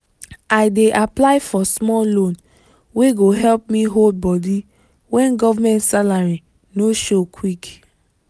i dey apply for small loan wey go help me hold body when government salary no show quick.